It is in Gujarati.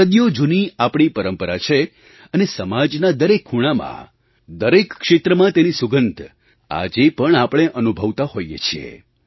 સદીઓ જૂની આપણી પરંપરા છે અને સમાજનાં દરેક ખૂણામાં દરેક ક્ષેત્રમાં તેની સુગંધ આજે પણ આપણે અનુભવતા હોઈએ છીએ